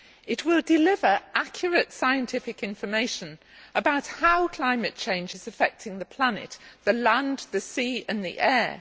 It will deliver accurate scientific information about how climate change is affecting the planet, the land, the sea and the air.